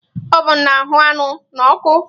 Ovun na-ahụ́ anụ n'ọkụ